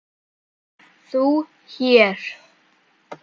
ÞÚ HÉR?